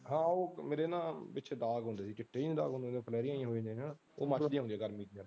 ਹਾਂ ਉਹ ਮੇਰੇ ਨਾ ਪਿੱਛੇ ਦਾਗ ਹੁੰਦੇ ਸੀ ਚਿੱਟੇ ਜਹੇ ਦਾਗ ਉਹ ਫਲੈਰੀਆਂ ਜਹੀਆਂ ਹੋ ਜਾਂਦੀਆਂ ਜਿਹੜੀਆਂ ਉਹ ਮਰ ਜਾਂਦੀਆਂ ਹੁੰਦੀਆਂ ਗਰਮੀ ਚ ਫਿਰ।